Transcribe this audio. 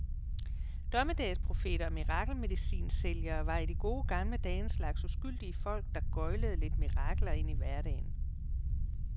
Dommedagsprofeter og mirakelmedicinsælgere var i de gode gamle dage en slags uskyldige folk, der gøglede lidt mirakler ind i hverdagen.